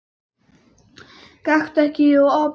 Gakktu ekki að opinu.